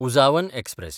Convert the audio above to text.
Uzhavan express